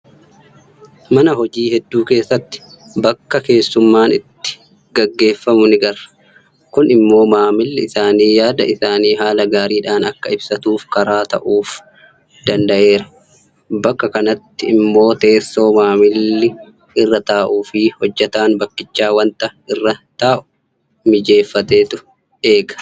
Mana hojii hedduu keessatti bakka keessummaan itti gaggeeffamu ni' garra. Kun immoo maamilli isaanii yaada isaa haala gaariidhaan akka ibsatuuf karaa ta'uuf i danda'eera. Bakka kanatti immoo teessoo maamilli irra taa'uufi hojjetaan bakkichaa waanta irra taa'u mijeeffameetu eega.